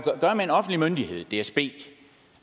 i dsb